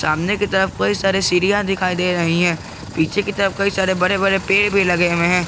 सामने की तरफ कई सारे सीढ़ियां दिखाई दे रही है पीछे की तरफ कई सारे बड़े बड़े पेड़ भी लगे हुए हैं।